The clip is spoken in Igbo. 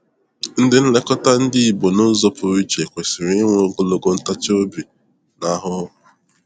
Ndị nlekọta ndị igbo n'ụzọ pụrụ iche kwesịrị inwe ogologo ntachi obi na-ahụhụ.